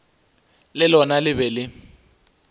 le lona le be le